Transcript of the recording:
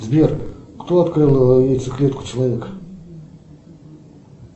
сбер кто открыл яйцеклетку человека